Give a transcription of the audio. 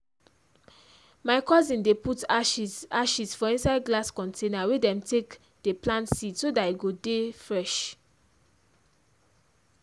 my cousin dey put ashes ashes for inside glass container wey dem take dey plant seed so that e go dey fresh.